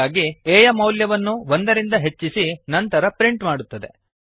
ಹಾಗಾಗಿ a ಯ ಮೌಲ್ಯವನ್ನು ಒಂದರಿಂದ ಹೆಚ್ಚಿಸಿ ನಂತರ ಪ್ರಿಂಟ್ ಮಾಡುತ್ತದೆ